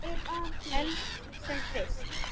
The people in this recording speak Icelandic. Helst sem fyrst.